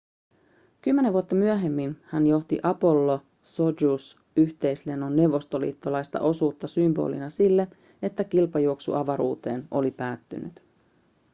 kymmenen vuotta myöhemmin hän johti apollo-sojuz-yhteislennon neuvostoliittolaista osuutta symbolina sille että kilpajuoksu avaruuteen oli päättynyt